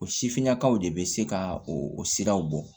O sifinnakaw de bɛ se ka o siraw bɔ